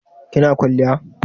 kina kwaliya?